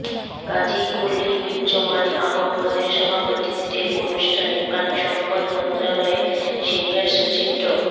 কাজী খলীকুজ্জমান আহমদের সভাপতিত্বে অনুষ্ঠানে পানি সম্পদ মন্ত্রণালয়ের সিনিয়র সচিব ড